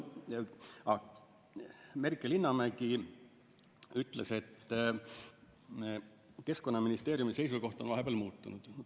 Merike Linnamägi ütles, et Keskkonnaministeeriumi seisukoht on vahepeal muutunud.